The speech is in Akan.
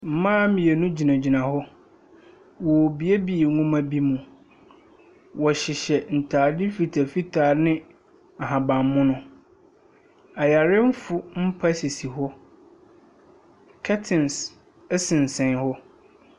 Mmaa mmienu gyinagyina wɔ. Wɔrebuebue nwomabi mu. Wɔheyehyɛ ntadeɛ mfitaa mfitaa ne ahabammono. Ayarefoɔ mpa sisi hɔ. Curtains sensɛn hɔ. Apɔwmudze edwumayɛfo ebien.